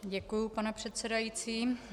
Děkuji, pane předsedající.